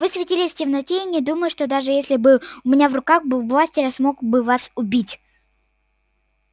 вы светились в темноте и не думаю что даже если бы у меня в руках был бластер я смог бы вас убить